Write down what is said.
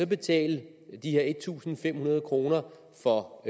betale de her en tusind fem hundrede kroner for